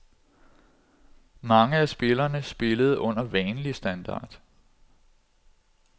Mange af spillerne spillede under vanlig standard.